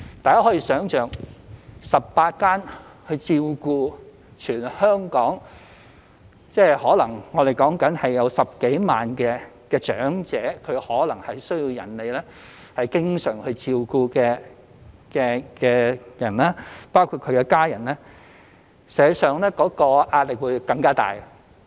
大家可以想象，如只有18間中心，而全香港可能有10多萬名需要別人經常照顧的長者，連同其家人，實際上其壓力會更加大。